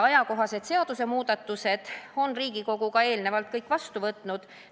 Asjakohased seadusemuudatused on Riigikogu eelnevalt kõik vastu võtnud.